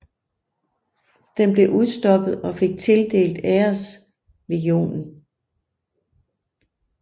Den blev udstoppet og fik tildelt Æreslegionen